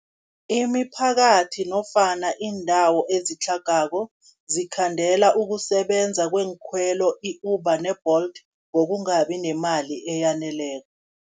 Imiphakathi nofana iindawo ezitlhagako, zikhandela ukusebenza kweenkhwelo i-Uber ne-Bolt, ngokungabi nemali eyaneleko.